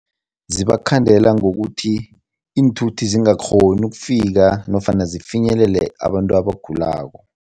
Zibakhandela ngokuthi iinthuthi zingakghoni ukufika nofana zifinyelele abantu abagulako.